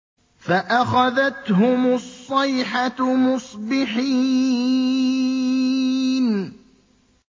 فَأَخَذَتْهُمُ الصَّيْحَةُ مُصْبِحِينَ